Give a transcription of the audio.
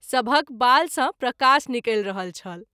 सभहक बाल सँ प्रकाश निकैल रहल छल।